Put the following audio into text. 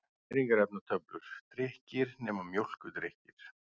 Næringarefnatöflur: Drykkir, nema mjólkurdrykkir.